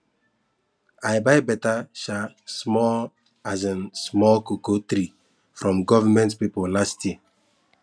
i buy better um small um small cocoa tree from government people last year